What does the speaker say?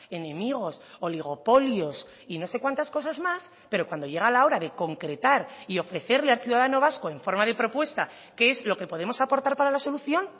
enemigos oligopolios y no sé cuántas cosas más pero cuando llega la hora de concretar y ofrecerle al ciudadano vasco en forma de propuesta qué es lo que podemos aportar para la solución